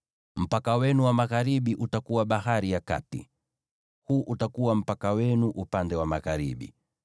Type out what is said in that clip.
“ ‘Mpaka wenu wa magharibi utakuwa Bahari ya Kati. Huu utakuwa mpaka wenu upande wa magharibi.